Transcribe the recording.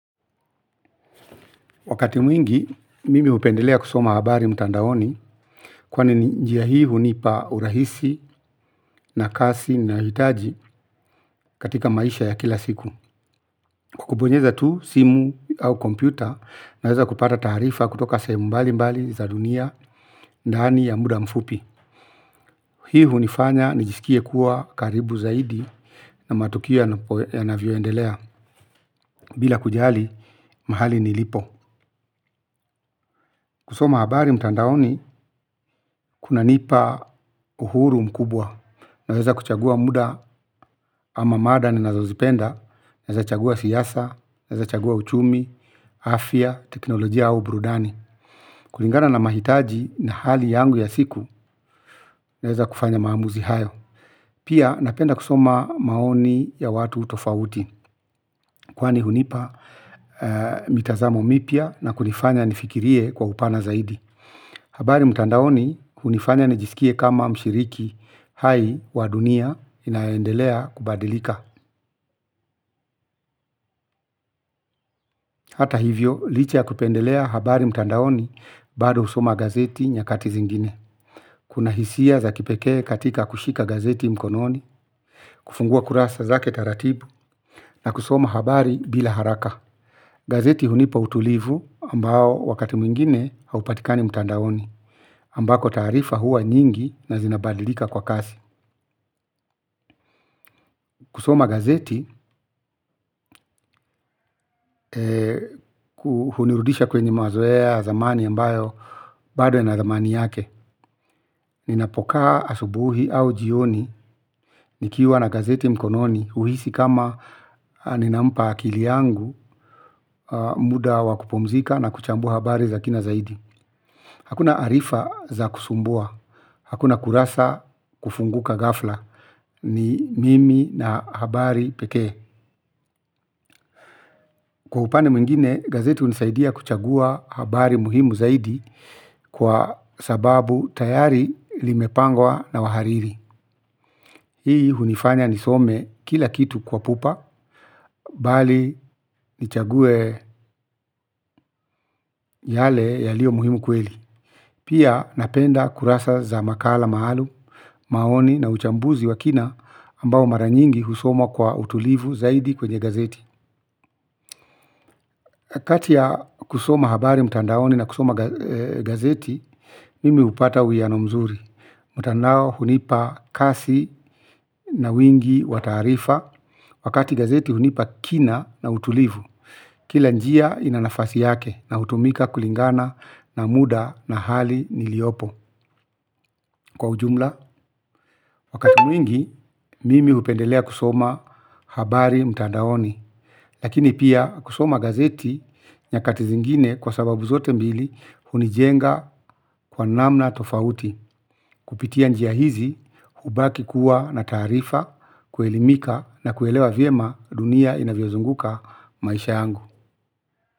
Wakati mwingi, mimi hupendelea kusoma habari mtandaoni. Kwani njia hii hunipa urahisi na kasi nahitaji katika maisha ya kila siku. Kwa kubonyeza tu simu au kompyuta naweza kupata taarifa kutoka sehemu mbalimbali za dunia. Ndani ya muda mfupi hii hunifanya nijisikie kuwa karibu zaidi na matukio yanavyoendelea. Bila kujali, mahali nilipo. Kusoma habari mtandaoni, kuna nipa uhuru mkubwa. Naweza kuchagua muda ama mada ninazozipenda, naweza chagua siasa, naweza chagua uchumi, afya, teknolojia au brudani. Kulingana na mahitaji na hali yangu ya siku, naweza kufanya maamuzi hayo. Pia napenda kusoma maoni ya watu tofauti. Kwani hunipa mitazamo mipya na kunifanya nifikirie kwa upana zaidi. Habari mtandaoni, hunifanya nijisikie kama mshiriki hai wa dunia inaendelea kubadilika. Hata hivyo, licha ya kupendelea habari mtandaoni bado husoma gazeti nyakati zingine. Kuna hisia za kipekee katika kushika gazeti mkononi, kufungua kurasa zake taratibu na kusoma habari bila haraka. Gazeti hunipa utulivu ambao wakati mwingine haupatikani mtandaoni ambako taarifa huwa nyingi na zinabadilika kwa kasi. Kusoma gazeti, kuhunirudisha kwenye mazoea ya zamani ambayo, bado yana thamani yake. Ninapokaa asubuhi au jioni, nikiwa na gazeti mkononi, huhisi kama ninampa akili yangu, muda wa kupumzika na kuchambua habari za kina zaidi. Hakuna arifa za kusumbua, hakuna kurasa kufunguka ghafla, ni mimi na habari pekee kwa upande mwingine gazeti hunisaidia kuchagua habari muhimu kwa sababu tayari limepangwa na wahariri. Hii hunifanya nisome kila kitu kwa pupa, bali nichague yale yalio muhimu kweli. Pia napenda kurasa za makala maalum, maoni na uchambuzi wa kina ambao mara nyingi husoma kwa utulivu zaidi kwenye gazeti. Wakati ya kusoma habari mtandaoni na kusoma gazeti, mimi hupata uwiyano mzuri. Mtandao hunipa kasi na wingi wa taarifa. Wakati gazeti hunipa kina na utulivu. Kila njia ina nafasi yake na hutumika kulingana na muda na hali niliyopo. Kwa ujumla, wakati mwingi, mimi hupendelea kusoma habari mtandaoni. Lakini pia kusoma gazeti nyakati zingine kwa sababu zote mbili hunijenga kwa namna tofauti kupitia njia hizi hubaki kuwa na taarifa kuelimika na kuelewa vyema dunia inavyozunguka maisha yangu.